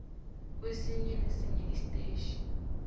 kwesinye nesinye istetjhi